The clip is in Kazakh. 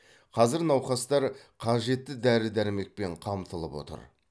қазір науқастар қажетті дәрі дәрмекпен қамтылып отыр